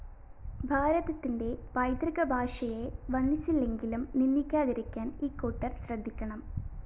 ഭാരതത്തിന്റെ പൈതൃകഭാഷയെ വന്ദിച്ചില്ലെങ്കിലും നിന്ദിക്കാതിരിക്കാന്‍ ഇക്കൂട്ടര്‍ ശ്രദ്ധിക്കണം